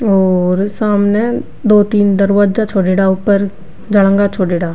और सामने दो तीन दरवाजा छोड़ेडा ऊपर जालेंगा छोड़ेडा।